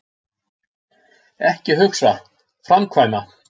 Ekki hugsa, framkvæma.